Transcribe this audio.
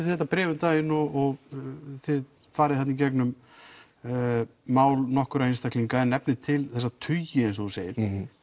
þetta bréf um daginn og þið farið þarna í gegnum mál nokkurra einstaklinga en nefnið til þessa tugi eins og þú segir